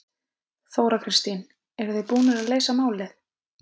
Þóra Kristín: Eruð þið búnir að leysa málið?